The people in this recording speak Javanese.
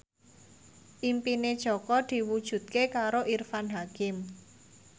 impine Jaka diwujudke karo Irfan Hakim